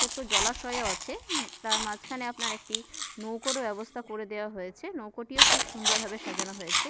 ছোট জলাশয় ও আছে উম তার মাঝখানে আপনার একটি নৌকার ব্যবস্থা করে দেয়া হয়েছে নৌকোটিও খুব সুন্দর ভাবে সাজানো হয়েছে ।